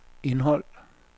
indhold